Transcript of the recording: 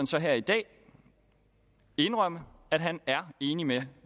så her i dag indrømme at han er enig med